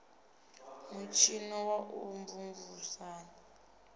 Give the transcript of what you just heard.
mutshino wa u mvumvusa na